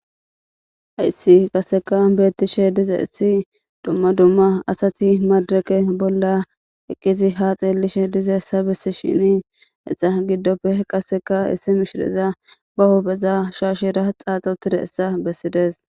Haysi qaseka betishe dizays duma duma asati medireke bola eqidi ha xelishe dizaysa besishen iza gidope qaseka issi mishreza ba hupheza shashera qac'ada utidaysa besides .